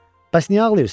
Bəs niyə ağlayırsan?